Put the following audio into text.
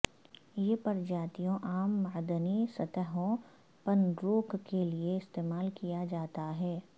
یہ پرجاتیوں عام معدنی سطحوں پنروک کے لئے استعمال کیا جاتا ہے